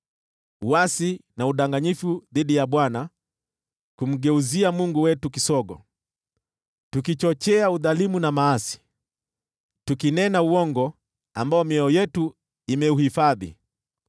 Uasi na udanganyifu dhidi ya Bwana , kumgeuzia Mungu wetu kisogo, tukichochea udhalimu na maasi, tukinena uongo ambao mioyo yetu imeuhifadhi.